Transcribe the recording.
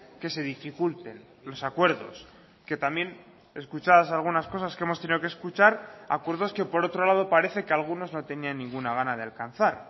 que se dificulten los acuerdos que también escuchadas algunas cosas que hemos tenido que escuchar acuerdos que por otro lado parece que algunos no tenían ninguna gana de alcanzar